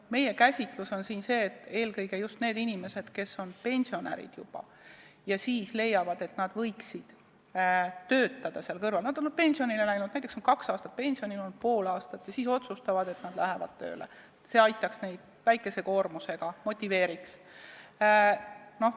Meie käsitlus on selline, et eelkõige neid inimesi, kes on juba pensionärid ja leiavad siis, et nad võiksid selle kõrval töötada – nad on pensionile läinud, näiteks on kaks aastat või pool aastat pensionil olnud ja siis otsustavad, et nad lähevad väikese koormusega tööle – see aitaks ja motiveeriks.